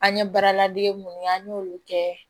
An ye baara ladege minnu ye an y'olu kɛ